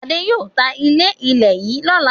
Adé yóò ta ilé-ilẹ̀ yìí lọ́la.